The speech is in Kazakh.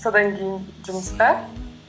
содан кейін жұмысқа